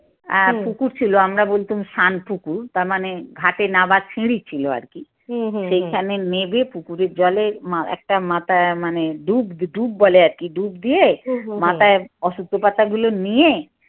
আর পুকুর ছিল আমরা বলতাম সান পুকুর। তার মানে ঘাটে নামার সিঁড়ি ছিল আর কি। সেইখানে নেবে পুকুরের জলে একটা মাথা টা মাথায় মানে ডুব ডুব বলে আর কি ডুব দিয়ে মাথায় অশুদ্ধতা গুলো নিয়ে